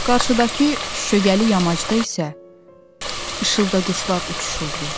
Qarşıdakı şüşəli yamacda isə işıldaquşlar uçuşurdu.